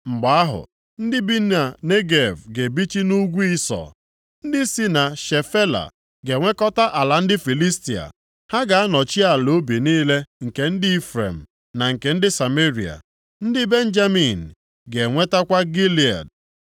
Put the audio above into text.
Mgbe ahụ, ndị bi na Negev ga-ebichi nʼugwu ugwu Ịsọ, ndị si na Shefela + 1:19 Ndị a bi nʼebe ala ala ugwu ga-enwekọta ala ndị Filistia. Ha ga-anọchi ala ubi niile nke ndị Ifrem na nke Sameria. Ndị Benjamin ga-enwetakwa Gilead.